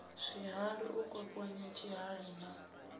zwihali u kwakwanya tshihali na